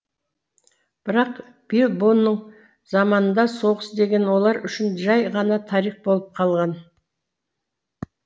бірақ бильбоның заманында соғыс деген олар үшін жай ғана тарих болып қалған